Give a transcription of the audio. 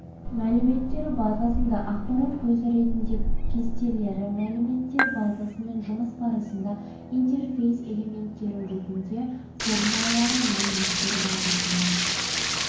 мәліметтер базасында ақпарат көзі ретінде кестелері мәліметтер базасымен жұмыс барысында интерфейс элементтері ретінде формалары мәліметтер базасында